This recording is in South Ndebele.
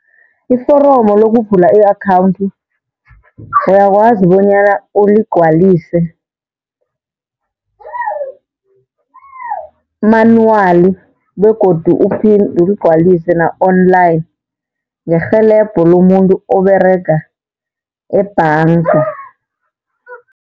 Iforomo lokuvula i-akhawunthi, uyakwazi bonyana uligcwalise manually begodu uphinde uligcwalise na-online ngerhelebho lomuntu oberega ebhanga.